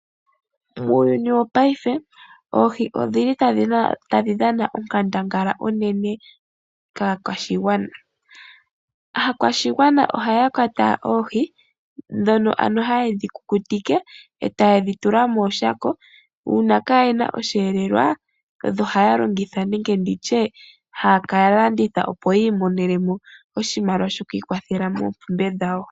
Muuyuni wopaife oohi odhili tadhi dhana onkandangala unene kaakwashigwana. Aakwashigwana ohaya kwata oohi, ndhono ano ha yedhi kukutike, eta yedhi tula mooshako. Uuna kaayena osheelelwa odho haya longitha nenge nditye, haya ka landitha opo yi imonene mo oshimaliwa shoku ikwathela moompumbwe dhawo.